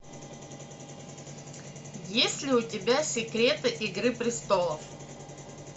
есть ли у тебя секреты игры престолов